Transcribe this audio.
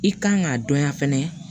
I kan k'a dɔnya fɛnɛ